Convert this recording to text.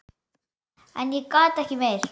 En ég gat ekki meir.